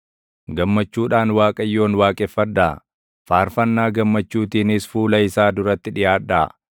Gammachuudhaan Waaqayyoon waaqeffadhaa; faarfannaa gammachuutiinis fuula isaa duratti dhiʼaadhaa.